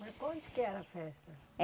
Mas onde que era a festa? Eh